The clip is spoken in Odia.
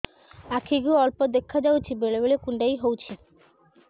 ଆଖି କୁ ଅଳ୍ପ ଦେଖା ଯାଉଛି ବେଳେ ବେଳେ କୁଣ୍ଡାଇ ହଉଛି